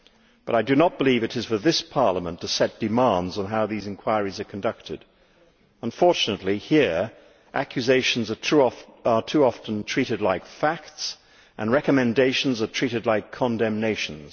But I do not believe it is for this Parliament to set demands on how these inquiries are conducted. Unfortunately, here, accusations are too often treated like facts and recommendations are treated like condemnations.